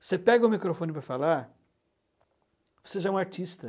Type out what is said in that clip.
Você pega o microfone para falar, você já é um artista.